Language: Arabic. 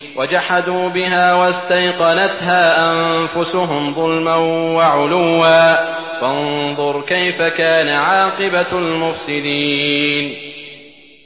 وَجَحَدُوا بِهَا وَاسْتَيْقَنَتْهَا أَنفُسُهُمْ ظُلْمًا وَعُلُوًّا ۚ فَانظُرْ كَيْفَ كَانَ عَاقِبَةُ الْمُفْسِدِينَ